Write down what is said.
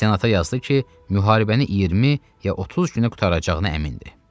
Senata yazdı ki, müharibəni 20 ya 30 günə qurtaracağına əmindir.